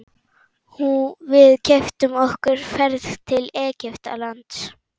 Við keyptum okkur ferð til Egyptalands.